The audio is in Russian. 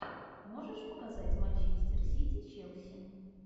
можешь показать манчестер сити челси